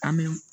An bɛ